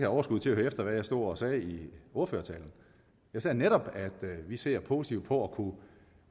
overskud til at høre efter hvad jeg stod og sagde i ordførertalen jeg sagde netop at vi ser positivt på at kunne